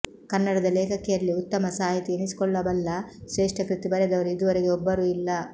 ಕನ್ನಡದ ಲೇಖಕಿಯರಲ್ಲಿ ಉತ್ತಮ ಸಾಹಿತಿ ಎನಿಸಿಕೊಳ್ಳಬಲ್ಲ ಶ್ರೇಷ್ಠ ಕೃತಿ ಬರೆದವರು ಇದುವರೆಗೆ ಒಬ್ಬರೂ ಇಲ್ಲ